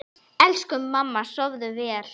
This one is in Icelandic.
Elsku mamma, sofðu vel.